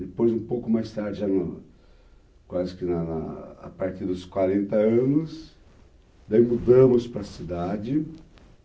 Depois, um pouco mais tarde, quase que na na a partir dos quarenta anos, mudamos para a cidade.